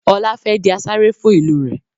Ọlá fẹ́ di asarè fún ìlú rẹ̀